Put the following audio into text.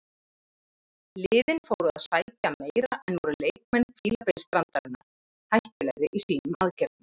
Liðin fóru að sækja meira en voru leikmenn Fílabeinsstrandarinnar hættulegri í sínum aðgerðum.